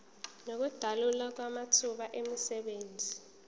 nokudalwa kwamathuba emisebenzi